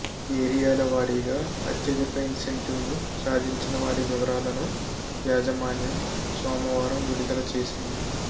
ఏరియాల వారీగా అత్యధిక ఇన్సెంటివ్లు సాధించిన వారి వివరాలను యాజమాన్యం సోమవారం విడుదల చేసింది